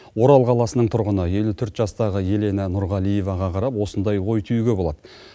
орал қаласының тұрғыны елу төрт жастағы елена нұрғалиеваға қарап осындай ой түюге болады